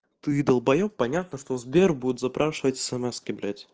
ты долбаеб понятно что сбер будет запрашивать эсэмэски блять